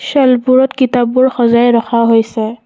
শ্বেলফবোৰত কিতাপবোৰ সজাই ৰখা হৈছে।